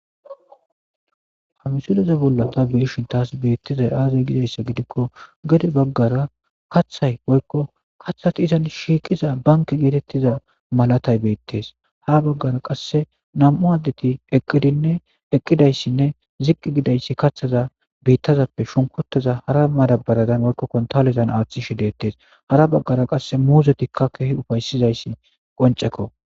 hamisuleze bolla ta biishin taas beettizay aazey gizayssa gidikko gede baggara kaththay woykko kaththati izan shiiqiza banke geetettiza malatay beettes ha baggara qasse nam7u addeti eqqidinne eqqidayssinne ziqqi gidayssi kathaza biittazappe shunkuteza hara madabaradan woykko kontalezan aaththishe deettes hara baggara qasse muuzetikka keeh ufaysizayssi qoncekko